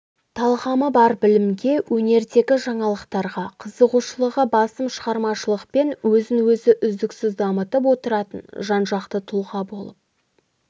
талғамы бар білімге өнердегі жаңалықтарға қызығушылығы басым шығармашылықпен өзін-өзі үздіксіз дамытып отыратын жан-жақты тұлға болып